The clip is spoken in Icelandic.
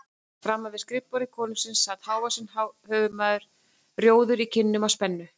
Framan við skrifborð konungsins sat hávaxinn höfuðsmár maður, rjóður í kinnum af spennu.